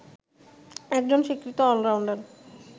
একজন স্বীকৃত অলরাউন্ডার